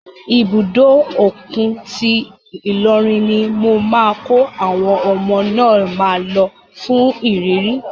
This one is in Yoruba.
Ibùdó òkun ti Ilorin ni mo máa kọ́ àwọn ọmọ náà máa lọ fún ìrírí.